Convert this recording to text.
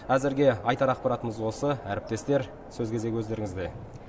әзірге айтар ақпаратымыз осы әріптестер сөз кезегі өздеріңізде